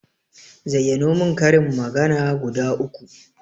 Zayyano mun karin magana guda uku